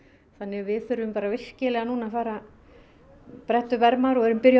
þannig að við þurfum bara virkilega núna að bretta upp ermar og erum byrjuð